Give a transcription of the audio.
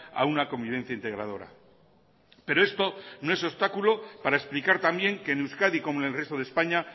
a una convivencia integradora pero esto no es obstáculo para explicar también que en euskadi como en el resto de españa